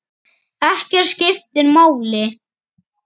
Ekkert skiptir máli.